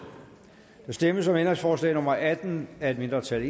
der stemmes om ændringsforslag nummer atten af et mindretal